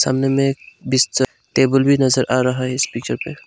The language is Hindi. सामने में टेबल भी नजर आ रहा है इस पिक्चर पे।